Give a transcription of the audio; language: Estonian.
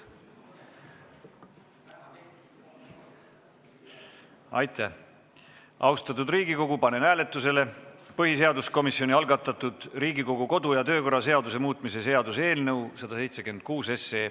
Austatud Riigikogu, panen hääletusele põhiseaduskomisjoni algatatud Riigikogu kodu- ja töökorra seaduse muutmise seaduse eelnõu 176.